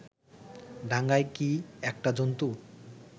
ডাঙায় কি একটা জন্তু